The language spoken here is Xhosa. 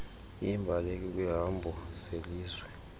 iimbaleki kwiihambo zelizwe